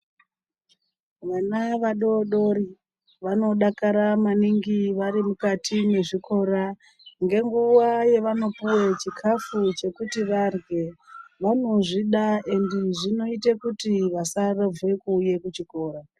Vana vadodori vanodakara maningi vari mukati mwezvikora ngenguwa yevanopiwa chikafu chekuti varye. Vanozvida endi zvinoita kuti vasarovhe kuuya kuchikora.